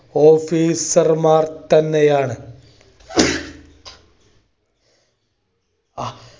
officer മാർ തന്നെയാണ്.